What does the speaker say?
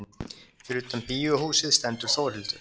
Fyrir utan bíóhúsið stendur Þórhildur.